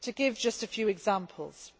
To give just a few examples